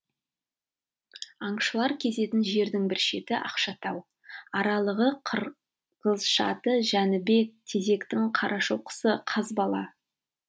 аңшылар кезетін жердің бір шеті ақшатау аралығы қырғызшаты жәнібек тезектің қарашоқысы қазбала